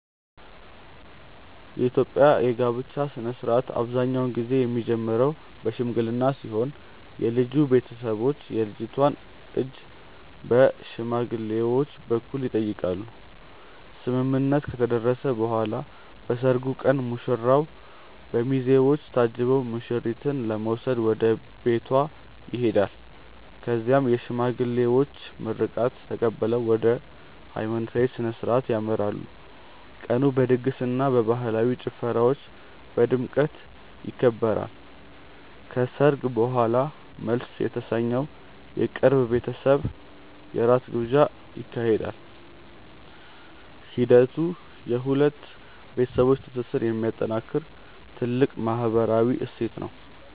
የኢትዮጵያ የጋብቻ ሥነ ሥርዓት አብዛኛውን ጊዜ የሚጀምረው በሽምግልና ሲሆን የልጁ ቤተሰቦች የልጅቷን እጅ በሽማግሌዎች በኩል ይጠይቃሉ። ስምምነት ከተደረሰ በኋላ በሰርጉ ቀን ሙሽራው በሚዜዎች ታጅቦ ሙሽሪትን ለመውሰድ ወደ ቤቷ ይሄዳል። በዚያም የሽማግሌዎች ምርቃት ተቀብለው ወደ ሃይማኖታዊ ሥነ ሥርዓት ያመራሉ። ቀኑ በድግስና በባህላዊ ጭፈራዎች በድምቀት ይከበራል። ከሰርግ በኋላም መልስ የተሰኘው የቅርብ ቤተሰብ የራት ግብዣ ይካሄዳል። ሂደቱ የሁለት ቤተሰቦች ትስስር የሚጠናከርበት ትልቅ ማህበራዊ እሴት ነው።